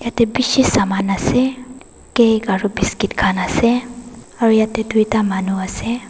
yate bishi saman ase cake aru biscuit khan ase aru yate duita manu ase.